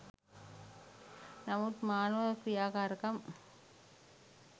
නමුත් මානව ක්‍රියාකාරකම්